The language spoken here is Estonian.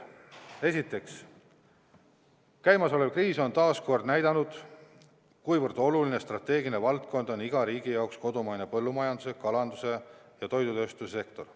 Esiteks, käimasolev kriis on taas näidanud, kui oluline strateegiline valdkond on iga riigi jaoks kodumaine põllumajandus, kalandus ja toidutööstussektor.